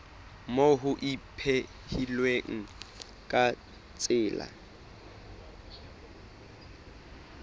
moo ho ipehilweng ka tsela